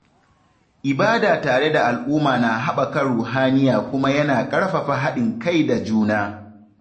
Ibada tare da al’umma na haɓaka ruhaniya kuma yana ƙarfafa haɗin kai da juna.